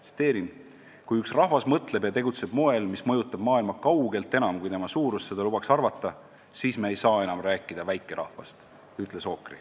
Tsiteerin: "Kui üks rahvas mõtleb ja tegutseb moel, mis mõjutab maailma kaugelt enam, kui tema suurus lubaks seda arvata, siis me ei saa enam rääkida väikerahvast.